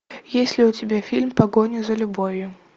есть ли у тебя фильм погоня за любовью